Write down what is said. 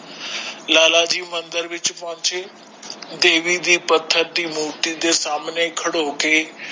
ਲਾਲਾ ਜੀ ਮੰਦਿਰ ਵਿਚ ਪੌਂਚੇ ਦੇਵੀ ਦੀ ਪੱਥਰ ਦੀ ਮੂਰਤੀ ਦੇ ਸਾਮਨੇ ਕੜੋ ਕੇ